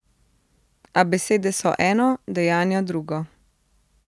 A besede so eno, dejanja drugo.